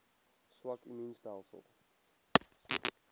swak immuun stelsels